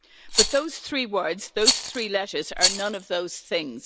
But those three words, those three letters are none of those things.